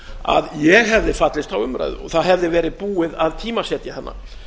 að ég hefði fallist á umræðu og það hefði verið búið að tímasetja hana